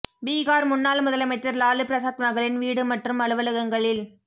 பீகார் முன்னாள் முதலமைச்சர் லாலு பிரசாத் மகளின் வீடு மற்றும் அலுவலகங்களில்